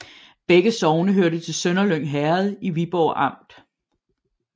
Begge sogne hørte til Sønderlyng Herred i Viborg Amt